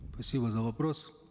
за вопрос